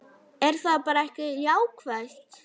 Er það bara ekki jákvætt?